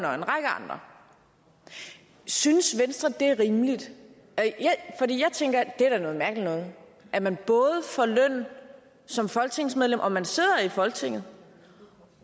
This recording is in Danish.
og en række andre synes venstre at det er rimeligt jeg tænker at det da er noget mærkeligt noget at man både får løn som folketingsmedlem og man sidder i folketinget